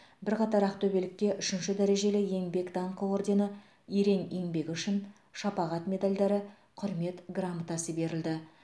бірқатар ақтөбелікке үшінші дәрежелі еңбек даңқы ордені ерен еңбегі үшін шапағат медальдары құрмет грамотасы берілді